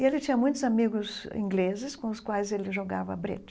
E ele tinha muitos amigos ingleses com os quais ele jogava brete.